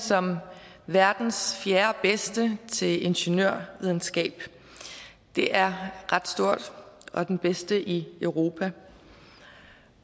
som verdens fjerdebedste til ingeniørvidenskab det er ret stort og den bedste i europa